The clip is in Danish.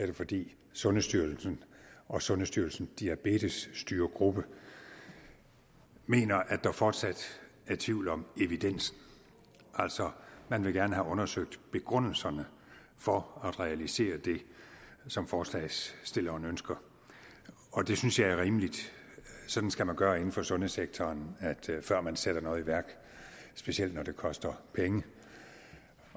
det fordi sundhedsstyrelsen og sundhedsstyrelsens diabetesstyregruppe mener at der fortsat er tvivl om evidensen altså man vil gerne have undersøgt begrundelserne for at realisere det som forslagsstillerne ønsker og det synes jeg er rimeligt sådan skal man gøre inden for sundhedssektoren før man sætter noget i værk specielt når det koster penge